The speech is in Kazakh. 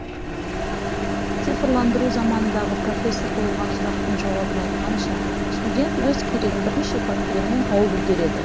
цифрландыру заманындағы профессор қойылған сұрақтың жауабын айтқанша студент өз керегін бірнеше фактілермен тауып үлгереді